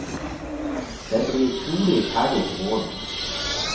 Den blir trolig ferdig til våren.